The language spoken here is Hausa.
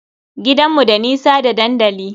Gidanmu da nisa da dandali.